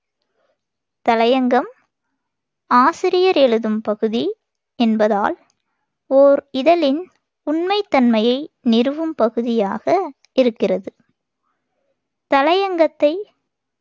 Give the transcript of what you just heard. தலையங்கம் ஆசிரியர் எழுதும் பகுதி என்பதால் ஓர் இதழின் உண்மைத் தன்மையை நிறுவும் பகுதியாக இருக்கிறது. தலையங்கத்தை